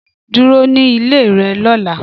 Dúró ní ilé rẹ lóla